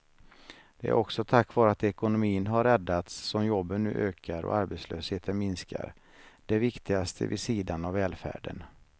Det är också tack vare att ekonomin har räddats som jobben nu ökar och arbetslösheten minskar, det viktigaste vid sidan av välfärden.